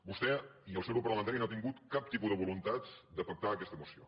vostè i el seu grup parlamentari no han tingut cap tipus de voluntat de pactar aquesta moció